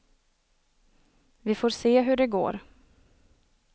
Vi får se hur det går.